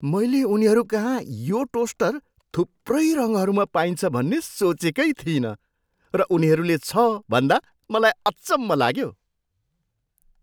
मैले उनीहरूकहाँ यो टोस्टर थुप्रै रङहरूमा पाइन्छ भन्ने सोचेकै थिइन र उनीहरूले छ भन्दा मलाई अचम्भ लाग्यो।